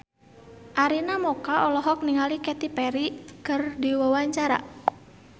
Arina Mocca olohok ningali Katy Perry keur diwawancara